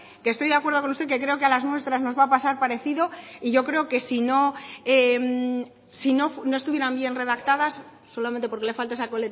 y estoy de acuerdo con usted que creo que a las nuestras nos va a pasar parecido yo creo que si no estuvieran bien redactadas solamente porque le falta esa